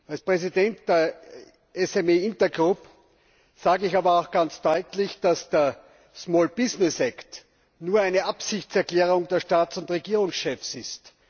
Als Präsident der SME Intergroup sage ich aber auch ganz deutlich, dass der Small Business Act nur eine Absichtserklärung der Staats und Regierungschefs ist.